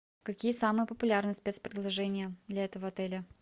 какие самые популярные спецпредложения для этого отеля